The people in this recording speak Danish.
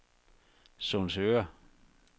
Sundsøre